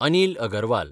Anil Agarwal